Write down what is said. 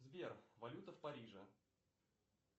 сбер валюта в париже